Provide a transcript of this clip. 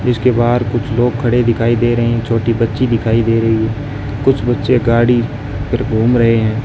इसके बाहर कुछ लोग खड़े दिखाई दे रहे हैं छोटी बच्ची दिखाई दे रही है कुछ बच्चे गाड़ी पर घूम रहे हैं।